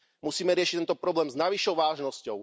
Musíme riešiť tento problém s najvyššou vážnosťou.